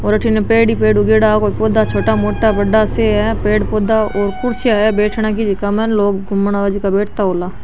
और अठीने पेड़ ही पेड़ उगेडा कोई पौधा छोटा मोटा बड़ा से है पेड़ पौधा और कुर्सियां है बैठने की जीका में लोग घूमना आये जो बैठता होला।